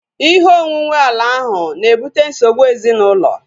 Ihe onwunwe ala ahu na-ebute nsogbu ezinaụlọ